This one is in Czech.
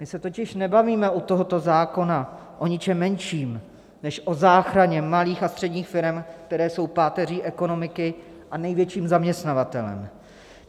My se totiž nebavíme u tohoto zákona o ničem menším než o záchraně malých a středních firem, které jsou páteří ekonomiky a největším zaměstnavatelem.